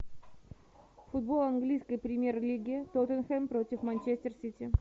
футбол английской премьер лиги тоттенхэм против манчестер сити